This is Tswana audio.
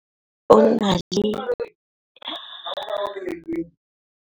Moagisane wa rona o na le lesea la dikgwedi tse tlhano.